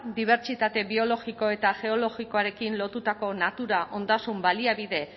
dibertsitate biologikoa eta geologikoarekin lotutako natura ondasun baliabide